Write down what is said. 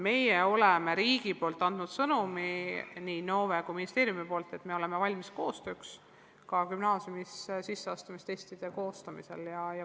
Meie oleme riigina andnud sõnumi nii Innove kui ka ministeeriumi kaudu, et me oleme valmis koostööks, ka gümnaasiumisse sisseastumise testide koostamisel.